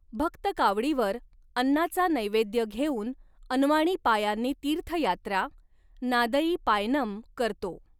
भक्त कावडीवर अन्नाचा नैवेद्य घेऊन अनवाणी पायांनी तीर्थयात्रा नादई पायनम करतो.